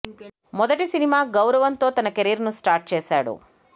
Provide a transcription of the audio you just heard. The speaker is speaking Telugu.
మొదటి సినిమా గౌరవం తో తన కెరీర్ ను స్టార్ట్ చేశాడు